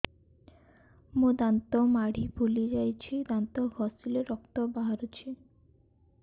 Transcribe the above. ମୋ ଦାନ୍ତ ମାଢି ଫୁଲି ଯାଉଛି ଦାନ୍ତ ଘଷିଲେ ରକ୍ତ ବାହାରୁଛି